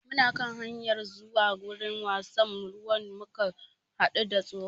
Muna kan hanyar zuwa wurin wasan ruwan muka haɗu da tsohon